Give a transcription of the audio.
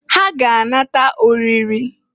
Ha ga-anata oriri.